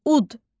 Ud.